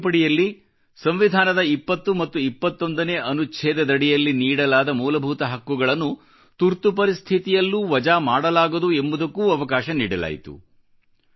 ಇದೇ ತಿದ್ದುಪಡಿಯಲ್ಲಿ ಸಂವಿಧಾನದ 20 ಮತ್ತು 21 ನೇ ಅನುಚ್ಛೇದದಡಿಯಲ್ಲಿ ನೀಡಲಾದ ಮೂಲಭೂತ ಹಕ್ಕುಗಳನ್ನು ತುರ್ತು ಪರಿಸ್ಥಿತಿಯಲ್ಲೂ ವಜಾ ಮಾಡಲಾಗದು ಎಂಬುದಕ್ಕೂ ಅವಕಾಶ ನೀಡಲಾಯಿತು